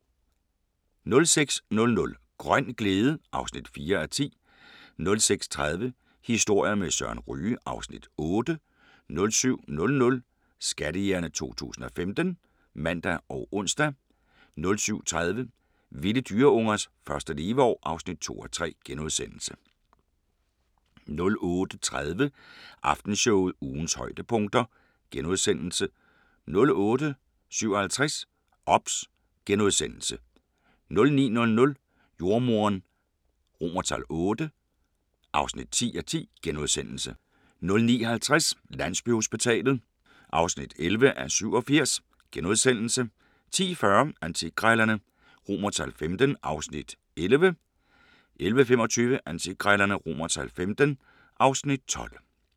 06:00: Grøn glæde (4:10) 06:30: Historier med Søren Ryge (Afs. 8) 07:00: Skattejægerne 2015 (man og ons) 07:30: Vilde dyreungers første leveår (2:3)* 08:30: Aftenshowet – ugens højdepunkter * 08:57: OBS * 09:00: Jordemoderen VIII (10:10)* 09:50: Landsbyhospitalet (11:87)* 10:40: Antikkrejlerne XV (Afs. 11) 11:25: Antikkrejlerne XV (Afs. 12)